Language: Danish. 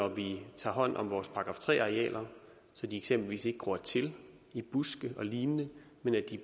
at vi tager hånd om vores § tre arealer så de eksempelvis ikke gror til i buske og lignende men